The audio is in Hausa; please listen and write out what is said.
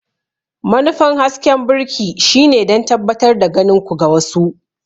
Manufar hasken birki shine don tabbatar da ganin ku ga wasu.